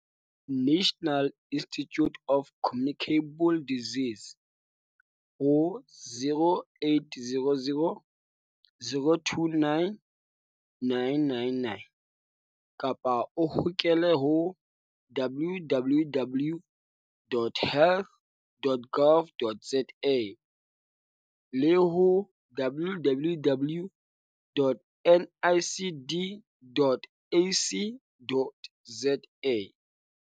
National Institute of Communicable Disease ho 0800 029 999 kapa o hokele ho www.health.gov.za le ho www.nicd.ac.za